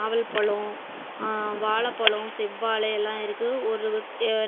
நாவல் பழோ ஆ வாழப்பழோ செவ்வாழ எல்லா இருக்கு ஒரு